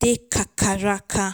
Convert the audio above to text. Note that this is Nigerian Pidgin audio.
dey kakaraka.